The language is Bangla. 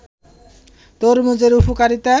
তরমুজের উপকারিতা